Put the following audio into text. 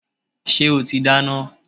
Ṣé o ti dáná?